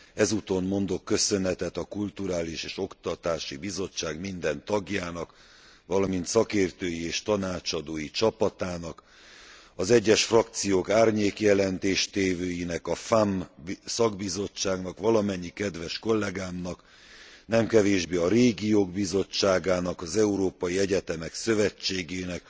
Ezúton mondok köszönetet a Kulturális és Oktatási Bizottság minden tagjának, valamint szakértői és tanácsadói csapatának, az egyes csoportok árnyék jelentéstévőinek, a FEMM szakbizottságnak, valamennyi kedves kollegámnak, nem kevésbé a Régiók Bizottságának, az Európai Egyetemek Szövetségének,